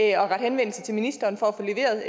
at rette henvendelse til ministeren for at få leveret